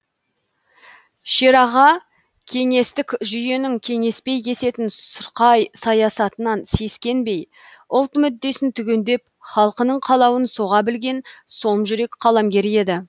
шераға кеңестік жүйенің кеңеспей кесетін сұрқай саясатынан сескенбей ұлт мүддесін түгендеп халқының қалауын соға білген сомжүрек қаламгер еді